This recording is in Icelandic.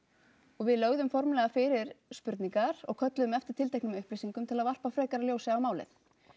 og við lögðum formlega fyrir spurningar og kölluðum eftir tilteknum upplýsingum til að varpa frekara ljósi á málið